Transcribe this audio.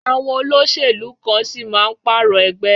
Àwọn olóṣèlú kan sì máa pààrọ̀ ẹgbẹ́.